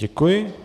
Děkuji.